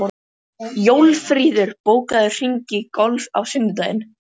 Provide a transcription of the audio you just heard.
Jófríður, bókaðu hring í golf á sunnudaginn.